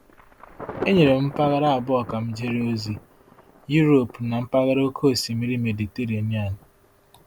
E nyere m mpaghara abụọ a ka m jere ozi: Europe na mpaghara Oké Osimiri Mediterenian.